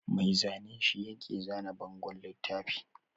Mai zane shi yake zana bangon littafi